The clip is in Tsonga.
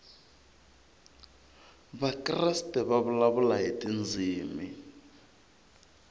vakreste va vulavula hi tindzimi